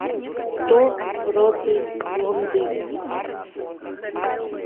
кто против блондинок